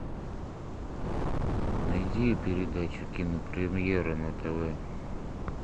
найди передачу кинопремьера на тв